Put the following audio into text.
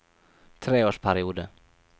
treårsperiode